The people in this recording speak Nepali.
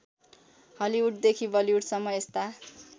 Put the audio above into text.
हलिउडदेखि बलिउडसम्म यस्ता